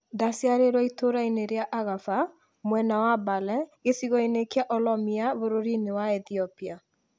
Ndaciarĩirũo itũũra-inĩ rĩa Agarfa, mwena wa Bale gĩcigo-inĩ kĩa Oromia bũrũri-inĩ wa Ethiopia.